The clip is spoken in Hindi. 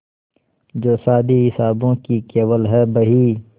जो शादी हिसाबों की केवल है बही